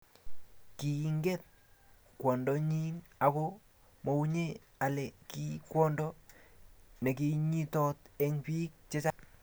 kiinget kwondonyin ako mounye ale ki kwondo nekonyitot eng biik chechang